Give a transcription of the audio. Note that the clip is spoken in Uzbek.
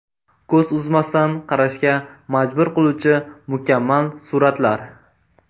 Ko‘z uzmasdan qarashga majbur qiluvchi mukammal suratlar.